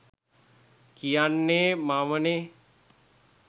කියන්නේ මමනේ.